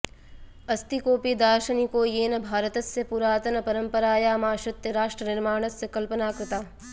अस्ति कोऽपि दार्शनिको येन भारतस्य पुरातनपरम्परायामाश्रित्य राष्ट्रनिर्माणस्य कल्पना कृता